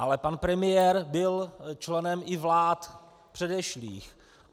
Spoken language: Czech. Ale pan premiér byl členem i vlád předešlých.